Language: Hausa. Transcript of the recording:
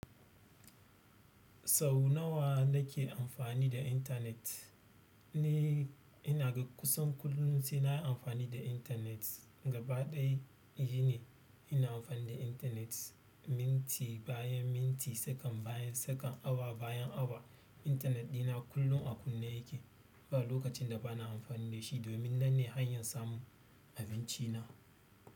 Sau nawa na ke amfani da intanet? Ni ina ga kusan kullum sai na yi amfani da intanet. Gaba ɗaya shi ne ina amfani da intanet. Minti bayan minti, sekon bayan sekon, awa bayan awa. Intanet ɗina kullum a kunne yake. Ba lokacin da ba na amfani da shi. Domin nan ne hanyar samun abinci na.